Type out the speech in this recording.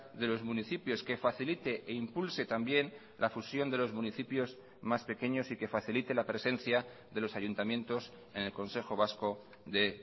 de los municipios que facilite e impulse también la fusión de los municipios más pequeños y que facilite la presencia de los ayuntamientos en el consejo vasco de